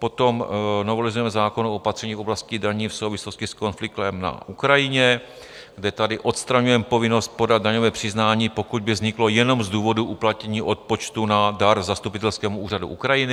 Potom novelizujeme zákon o opatření v oblasti daní v souvislosti s konfliktem na Ukrajině, kde tady odstraňujeme povinnost podat daňové přiznání, pokud by vzniklo jenom z důvodu uplatnění odpočtu na dar zastupitelskému úřadu Ukrajiny.